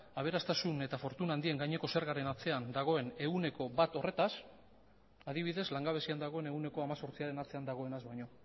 aberastasun eta fortuna handien gaineko zergaren atzean dagoen ehuneko bat horretaz adibidez langabezian dagoen ehuneko hemezortziaren atzean dagoenaz baino